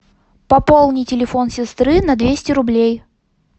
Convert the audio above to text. пополни телефон сестры на двести рублей